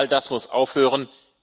All das muss aufhören.